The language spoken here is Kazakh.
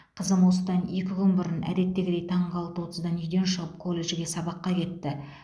қызым осыдан екі күн бұрын әдеттегідей таңғы алты отыздан үйден шығып колледжге сабаққа кетті